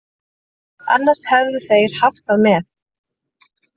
Annars hefðu þeir haft það með.